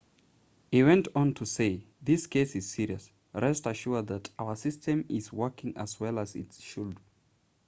he went on to say this case is serious rest assured that our system is working as well as it should